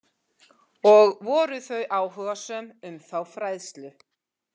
Og voru þau áhugasöm um þá fræðslu?